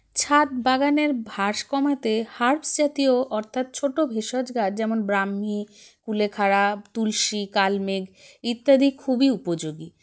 ছাদ বাগানের ভাস কমাতে herbs জাতীয় অর্থাৎ ছোটো ভেষজ গাছ যেমন ব্রাহ্মি কুলেখাড়া তুলসী কালমেঘ ইত্যাদি খুবই উপযোগী